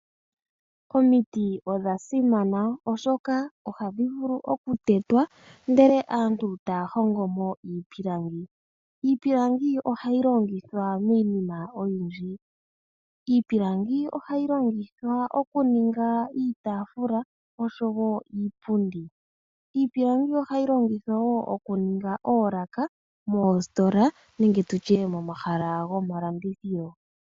Omiti odha simana oshoka ohadhi vulu okutetwa ndele aantu taya hongo mo iipundi . Iipilangi ohayi longithwa miinima oyindji ngaashi okuninga iitaafula oshowo iipundi. Ohayi longithwa wo okuninga oolaka dhomositola nenge momahala gomalandithilo.